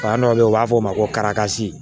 Fan dɔ bɛ ye u b'a fɔ ko